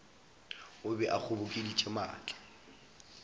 o be a kgobokeditše maatla